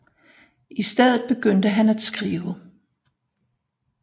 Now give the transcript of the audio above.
I stedet begyndte han at skrive